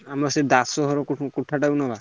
ଆମର ସେ ଦାସ ଘର କୋଠା ଟା ନବା?